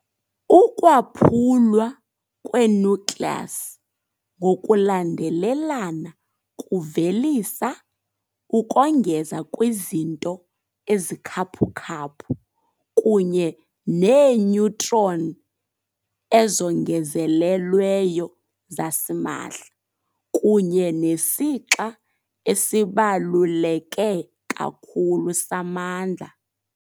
Ukwaphulwa kwe-nucleus ngokulandelelana kuvelisa, ukongeza kwizinto ezikhaphukhaphu, kunye neeneutron ezongezelelweyo zasimahla, kunye nesixa esibaluleke kakhulu samandla.